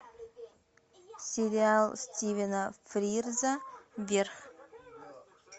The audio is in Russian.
сериал стивена фрирза вверх